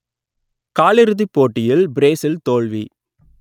காலிறுதிப் போட்டியில் பிரேசில் தோல்வி